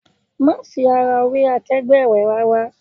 Má fi ara wé akegbe rẹ rárá!